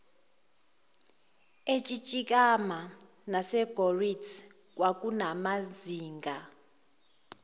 etsitsikamma nasegouritz kwakunamazinga